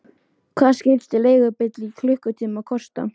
Hvað skyldi leigubíll í klukkutíma kosta?